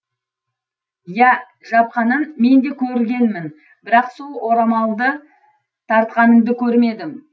иә жапқанын мен де көргенмін бірақ сол орамалды тартқаныңды көрмедім